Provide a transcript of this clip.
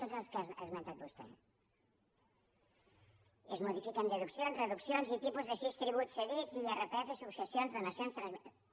tots els que ha esmentat vostè i es modifiquen deduccions reduccions i tipus de sis tributs cedits irpf successions donacions transmissions